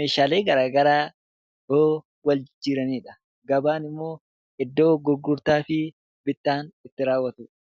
meeshaalee garaa garaa yeroo wal jijjiiraniidha. Gabaa jechuun immoo iddoo gurgurtaa fi bittaan itti raawwatuudha.